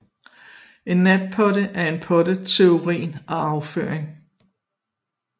En natpotte er en potte til urin og afføring